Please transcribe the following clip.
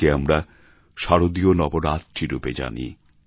একে আমরা শারদীয় নবরাত্রি রূপে জানি